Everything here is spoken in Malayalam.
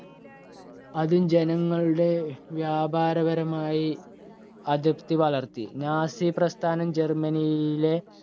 അതു ജനങ്ങളുടെ വ്യാപാരപരമായി അതൃപ്തി വളർത്തി. നാസി പ്രസ്ഥാനം ജർമനിയിലെ